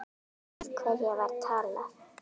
Við hverja var talað?